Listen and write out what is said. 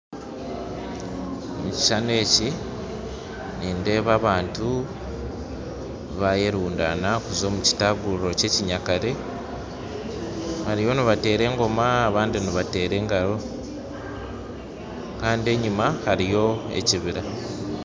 Ekishushani eki nindeeba abantu bayerundaana kuza omu kitaguriro kyekinyakare bariyo nibanteera engoma , abandi nibateera engaro Kandi enyuma hariyo ekibira